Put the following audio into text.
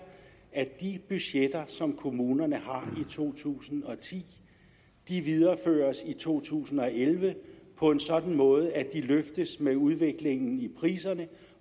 at de budgetter som kommunerne har i to tusind og ti videreføres i to tusind og elleve på en sådan måde at de løftes med udviklingen i priserne